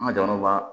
An ka jamana b'a